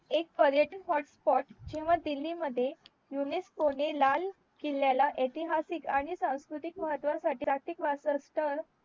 एक पर्यटन hotspot